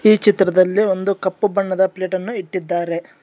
ಈ ಚಿತ್ರದಲ್ಲಿ ಒಂದು ಕಪ್ಪು ಬಣ್ಣದ ಪ್ಲೇಟ್ ಅನ್ನು ಇಟ್ಟಿದ್ದಾರೆ.